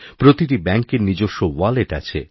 প্রতিটি ব্যাঙ্কেরনিজস্ব ওয়ালেট আছে